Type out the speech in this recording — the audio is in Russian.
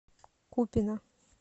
купино